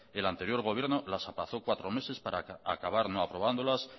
el anterior gobierno las aplazó cuatro meses para acabar no aprobándolas